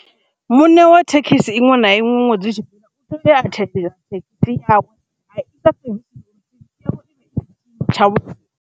Muṋe wa thekhisi iṅwe na iṅwe ṅwedzi u tshi fhela .